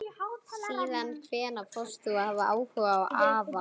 Síðan hvenær fórst þú að hafa áhuga á afa?